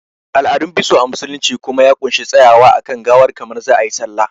Al'adun biso a musulunci kuma ya ƙunshi tsayawa a kan gawar kamar za a yi sallah